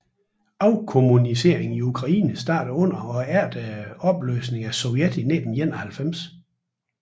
Afkommuniseringen i Ukraine startede under og efter opløsningen af Sovjetunionen i 1991